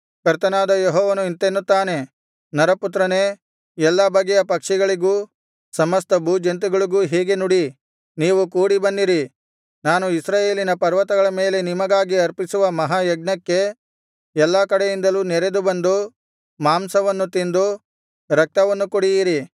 ಕರ್ತನಾದ ಯೆಹೋವನು ಇಂತೆನ್ನುತ್ತಾನೆ ನರಪುತ್ರನೇ ಎಲ್ಲಾ ಬಗೆಯ ಪಕ್ಷಿಗಳಿಗೂ ಸಮಸ್ತ ಭೂಜಂತುಗಳಿಗೂ ಹೀಗೆ ನುಡಿ ನೀವು ಕೂಡಿಬನ್ನಿರಿ ನಾನು ಇಸ್ರಾಯೇಲಿನ ಪರ್ವತಗಳ ಮೇಲೆ ನಿಮಗಾಗಿ ಅರ್ಪಿಸುವ ಮಹಾಯಜ್ಞಕ್ಕೆ ಎಲ್ಲಾ ಕಡೆಯಿಂದಲೂ ನೆರೆದು ಬಂದು ಮಾಂಸವನ್ನು ತಿಂದು ರಕ್ತವನ್ನು ಕುಡಿಯಿರಿ